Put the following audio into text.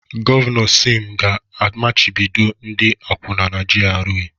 Gọvanọ Sim ga-amachibido ndị akwụna na GRA.